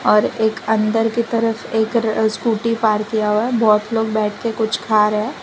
और एक अंदर की तरफ एक र स्कूटी पार किया हुआ है बोहोत लोग बैठ के कुछ खा रै है।